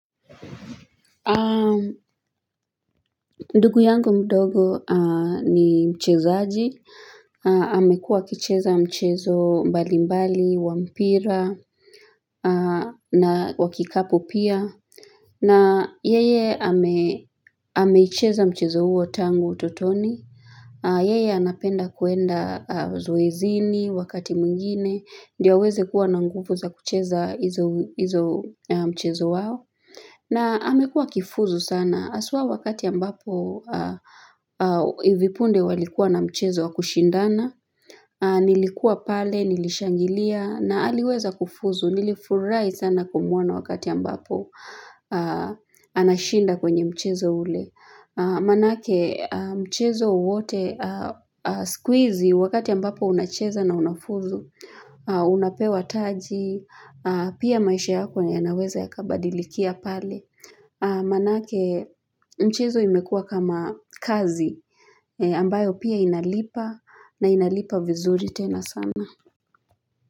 Ndugu yangu mdogo ni mchezaji, amekuwa akicheza mchezo mbalimbali, wa mpira, na wa kikapu pia, na yeye ameicheza mchezo huo tangu utotoni, yeye anapenda kuenda zoezini wakati mwingine, ndio aweze kuwa na nguvu za kucheza hizo mchezo wao. Na amekua akifuzu sana, haswa wakati ambapo hivi punde walikuwa na mchezo wa kushindana, nilikuwa pale, nilishangilia, na aliweza kufuzu, nilifurahi sana kumwona wakati ambapo anashinda kwenye mchezo ule. Maanake mchezo wowote siku hizi wakati ambapo unacheza na unafuzu Unapewa taji Pia maisha yako yanaweza yakabadilikia pale Maanake mchezo imekuwa kama kazi ambayo pia inalipa na inalipa vizuri tena sana.